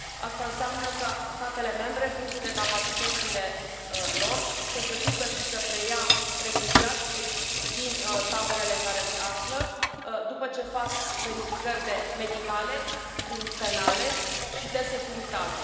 Asta înseamnă ca statele membre, în funcție de capacitățile lor, să se ducă și să preia refugiați din taberele în care se află, după ce fac verificări medicale, penale și de securitate.